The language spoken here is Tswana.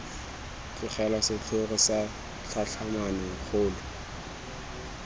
tlogelwa setlhogo sa tlhatlhamano kgolo